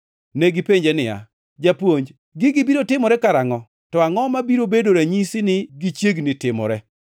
Negipenje niya, “Japuonj, gigi biro timore karangʼo? To angʼo mabiro bedo ranyisi ni gichiegni timore?”